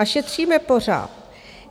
A šetříme pořád.